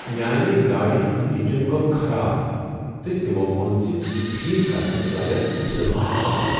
میٛانہ گاڑ ہنٛد انجن گوٚو خراب تہٕ تمو ووٚن ز یہ ٹھیک کرنس لگن زٕ لچھ رۄپیہ